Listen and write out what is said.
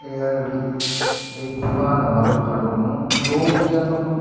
एयर अल एक विमान हमरु खडो हुयुं लोग यखम --